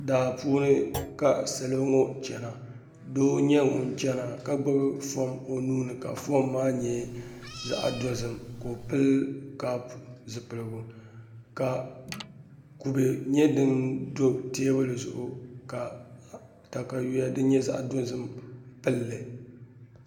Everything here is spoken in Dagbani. Daa puuni ka salo ŋo chɛna doo n nyɛ ŋun chɛna ka gbubi foon o nuuni ka foon maa nyɛ zaɣ dozim ka o pili kaap zipiligu ka kubɛ nyɛ din do teebuli zuɣu ka katawiya din nyɛ zaɣ dozim pilli